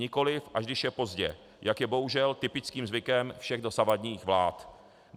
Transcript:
Nikoliv až když je pozdě, jak je bohužel typickým zvykem všech dosavadních vlád.